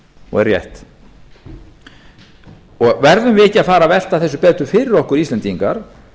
og er rétt verðum við ekki að fara að velta þessu betur fyrir okkur íslendingar